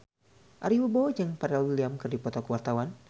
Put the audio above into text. Ari Wibowo jeung Pharrell Williams keur dipoto ku wartawan